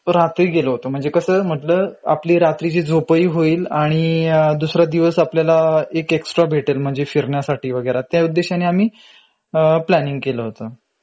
रात्री गेलो होतो म्हंजे कसं मधलं आपली रात्रीची झोपही होईल आणि दुसरा दिवस आपल्याला एक extra भेटेल म्हंजे फिरण्यासाठी वगेरा.त्या उद्देशाने आम्ही अ प्लांनिंग केलं होत.